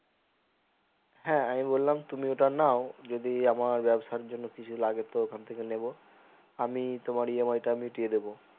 হ্যাঁ আমি বললাম তুমি ওটা নাও যদি আমার ব্যাবসার জন্য কিছু লাগে তো ওইখান থেকে নেবো আমি তোমার EMI টা মিটিয়ে দিবো